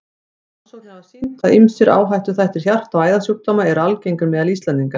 Rannsóknir hafa sýnt, að ýmsir áhættuþættir hjarta- og æðasjúkdóma eru algengir meðal Íslendinga.